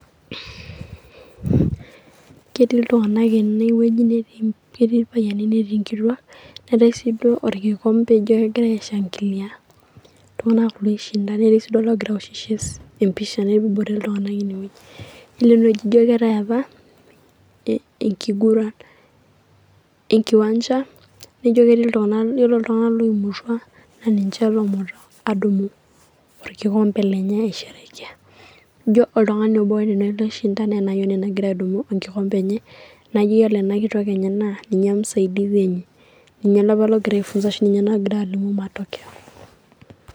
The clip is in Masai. Ketii iltung'anak ene wueji, ketii ilpayiani netii enkituak, nemetii sii duo oekikompe ogira aishangilia iltung'anak kulo oishinda netii sii duo oogirae aaawoshoki esimu empisha nebore iltung'anak ine weuji. Ore ene wueji ejio keetae apa, egiguran enkiwanja naijio ore iltung'anak loimutua naa ninche apa oonoto aadumu oekikompe lenye aisherkea. Ino oltung'ani obo oishinda naa ena ayioni nagira adumu enkikompe enye naijo ore ena kitok enye naa ninye musaidisi enye, ninye nagira matokeyo.